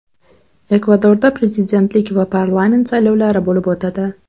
Ekvadorda prezidentlik va parlament saylovlari bo‘lib o‘tadi.